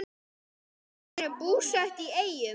Þau eru búsett í Eyjum.